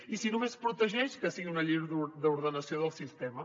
i si només protegeix que sigui una llei d’ordenació del sistema